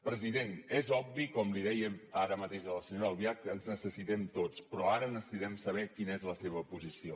president és obvi com li deia ara mateix a la senyora albiach que ens necessitem tots però ara necessitem saber quina és la seva posició